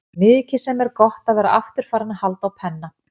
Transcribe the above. Mikið sem er gott að vera aftur farinn að halda á penna.